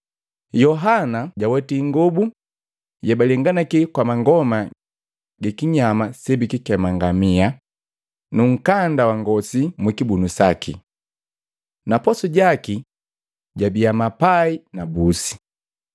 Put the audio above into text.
Yohana jaweti ingobu yebalenganaki kwa mangoma gi kinyama sebikikema ngamia, nu nkanda wa ngosi mukibunu saki. Na posu jaki gabia mapai na busi.